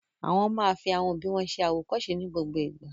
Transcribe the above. Àwọn máa fi àwọn òbí wọn ṣẹ àwòkọ́ṣe ní gbogbo ìgbà.